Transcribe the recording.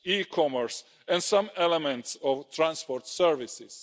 e-commerce, and some elements of transport services.